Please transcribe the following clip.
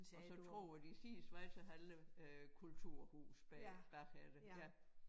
Og så tror jeg de siger Schweizerhalle øh kulturhus bag bagefter ja